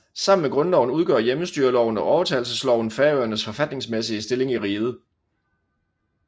Sammen med grundloven udgør hjemmestyreloven og overtagelsesloven Færøernes forfatningsmæssige stilling i riget